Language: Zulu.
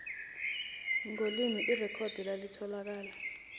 ngolimi irekhodi elitholakala